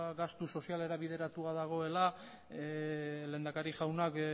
gastu sozialera bideratua dagoela lehendakari jaunak